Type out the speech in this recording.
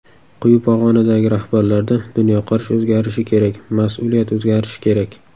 Quyi pog‘onadagi rahbarlarda dunyoqarash o‘zgarishi kerak, mas’uliyat o‘zgarishi kerak.